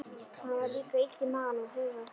Honum var líka illt í maganum og höfuðið var þungt.